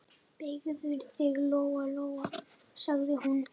Beygðu þig, Lóa-Lóa, sagði hún.